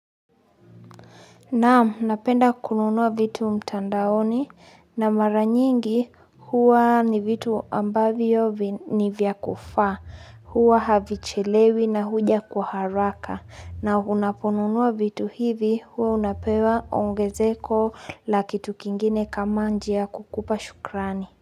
Naam napenda kununua vitu mtandaoni na mara nyingi huwa ni vitu ambavyo ni vyakufa huwa havichelewi na huja kwa haraka na unaponunuwa vitu hivi huwa unapewa ongezeko la kitukingine kama njia ya kukupa shukrani.